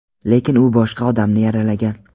lekin u boshqa odamni yaralagan.